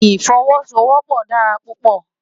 Ifòwòsówòpò dàrá púpò